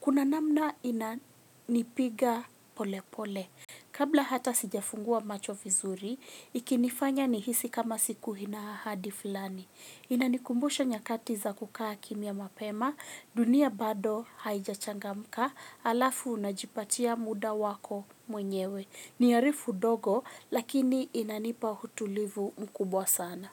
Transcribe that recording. Kuna namna inanipiga pole pole. Kabla hata sijafungua macho vizuri, ikinifanya nihisi kama siku ina ahadi fulani. Inanikumbusha nyakati za kukaa kimya mapema, dunia bado haijachangamka, halafu unajipatia muda wako mwenyewe. Ni harufu ndogo, lakini inanipa utulivu mkubwa sana.